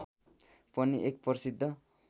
पनि एक प्रसिद्ध